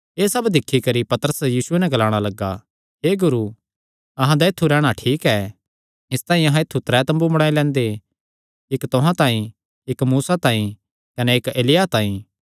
एह़ सब दिक्खी करी पतरस यीशुये नैं ग्लाणा लग्गा हे गुरू अहां दा ऐत्थु रैहणा ठीक ऐ इसतांई अहां त्रै तम्बू बणाई लैंदे इक्क तुहां तांई इक्क मूसा तांई कने इक्क एलिय्याह तांई